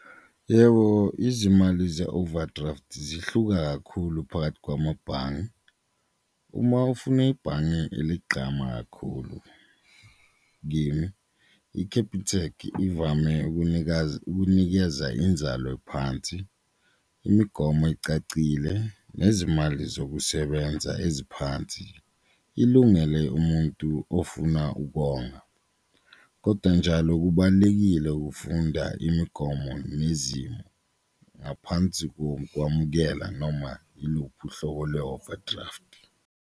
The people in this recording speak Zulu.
Yebo, izimali ze-overdraft zihluka kakhulu phakathi kwamabhange, uma ufuna ibhange eligqama kakhulu kimi u-Capitec ivame ukunikeza inzalo phansi, imigomo ecacile, nezimali zokusebenza eziphansi ilungele umuntu ofuna ukonga. Koda njalo kubalulekile ukufunda imigomo nezimo ngaphansi kokukwamukela noma uluphi uhlobo lwe-overdraft.